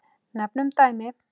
Nefnum dæmi.